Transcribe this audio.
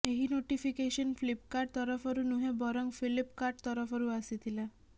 ଏହି ନୋଟିଫିକେସନ ଫ୍ଲିପକାର୍ଟ ତରଫରୁ ନୁହେଁ ବରଂ ଫିଲ୍ପକାର୍ଟ ତରଫରୁ ଆସିଥିଲା